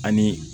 Ani